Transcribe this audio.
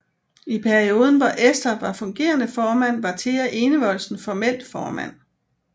I perioden hvor Esther var fungerende formand var Thea Enevoldsen formelt formand